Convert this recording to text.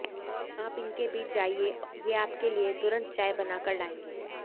आप इनके बीच जाइये ये आपके लिये तुरंत चाय बना कर लायेंगे